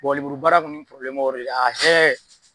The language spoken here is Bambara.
lemurubara kɔni y'o yɔrɔ de ye a hɛ.